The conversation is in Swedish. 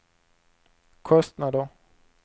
kostnader